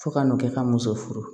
Fo ka n'o kɛ ka muso furu